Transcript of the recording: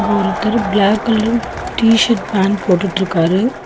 ஒருத்தர் black colour T shirt pant போட்டுட்டுருக்காரு.